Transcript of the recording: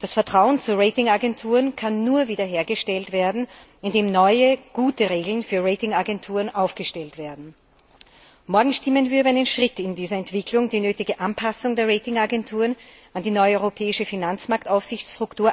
Das Vertrauen zu Ratingagenturen kann nur wiederhergestellt werden, indem neue, gute Regeln für Ratingagenturen aufgestellt werden. Morgen stimmen wir über einen Schritt in dieser Entwicklung ab, die nötige Anpassung der Ratingagenturen an die neue europäische Finanzmarktaufsichtsstruktur